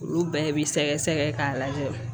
Olu bɛɛ bi sɛgɛsɛgɛ k'a lajɛ